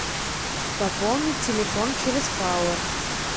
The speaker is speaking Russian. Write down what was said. пополнить телефон через пауэр